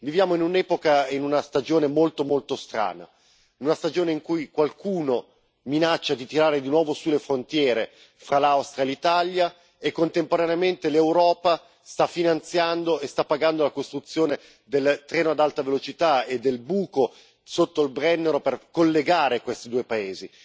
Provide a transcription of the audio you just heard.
Viviamo in un'epoca e in una stagione molto molto strana, una stagione in cui qualcuno minaccia di tirare su di nuovo le frontiere fra l'Austria e l'Italia e, contemporaneamente, l'Europa sta finanziando la costruzione del treno ad alta velocità e del traforo sotto il Brennero per collegare questi due paesi.